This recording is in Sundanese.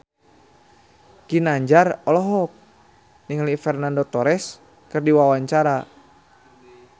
Ginanjar olohok ningali Fernando Torres keur diwawancara